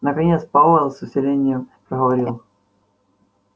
наконец пауэлл с усилением проговорил